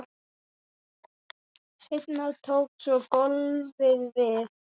Seinna tók svo golfið við.